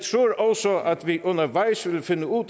vi undervejs vil finde ud